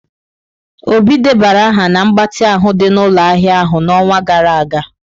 Obi debara aha na mgbatị ahụ dị n'ụlọ ahịa ahịa n'ọnwa gara aga.